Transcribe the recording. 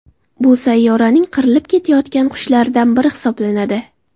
Bu sayyoraning qirilib ketayotgan qushlaridan biri hisoblanadi.